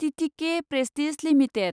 TTK prestige limited